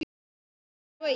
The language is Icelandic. Satt eða logið.